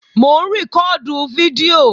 Mò ń rìkọ́ọ̀dù fídíò